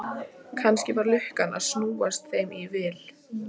Kannski var lukkan að snúast þeim í vil.